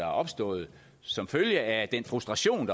opstået som følge af den frustration